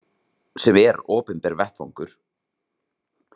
Sem er opinber vettvangur.